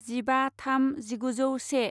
जिबा थाम जिगुजौ से